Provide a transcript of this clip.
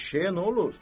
Eşşəyə nə olur?